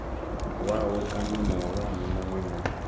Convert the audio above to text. wawe kana muhulwane munwe na